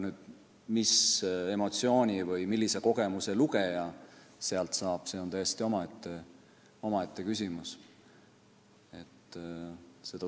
See, mis emotsiooni või millise kogemuse lugeja sealt saab, on aga täiesti omaette küsimus.